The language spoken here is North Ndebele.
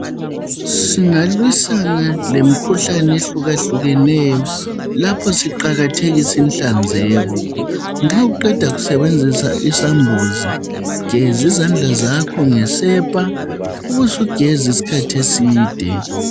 Singalwisana lemikhuhlane ehluka hlukeneyo lapho siqakathekisa ihlanzeko, nxa uqeda kusebenzisa isambuzi gezi zandla zakho ngesepa, ubusugeza isikhathi eside.